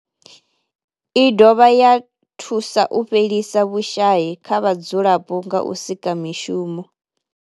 I dovha ya thusa u fhelisa vhushayi kha vhadzulapo nga u sika mishumo.